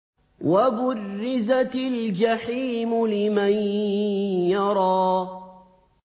وَبُرِّزَتِ الْجَحِيمُ لِمَن يَرَىٰ